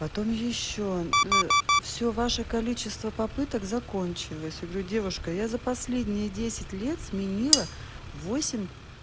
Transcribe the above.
потом ещё но все ваше количество попыток закончилась говорю девушка я за последние десять лет сменила восемь